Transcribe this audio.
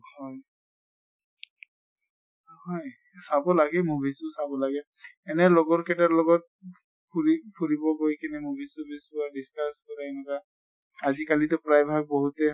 হম হয় চাব লাগে movies তো চাব লাগে এনে লগত কেটাৰ লগত ফুৰি ফুৰিব গৈ কিনে movies চুভিচ চোৱা, discuss কৰা এনকা আজি কালিতো প্ৰায় ভাগ বহুতে